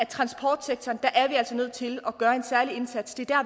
transportsektoren er vi altså nødt til at gøre en særlig indsats det er der